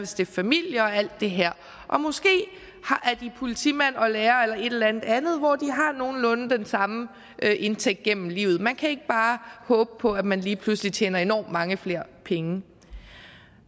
stifte familie og alt det her og måske er de politimand og lærer eller et eller andet andet hvor de har nogenlunde den samme indtægt gennem livet man kan ikke bare håbe på at man lige pludselig tjener enormt mange flere penge